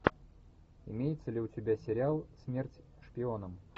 имеется ли у тебя сериал смерть шпионам